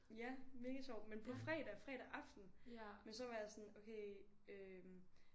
Ja mega sjovt men på fredag fredag aften men så var jeg sådan okay øh